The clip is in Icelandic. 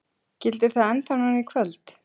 Gildir það ennþá núna í kvöld?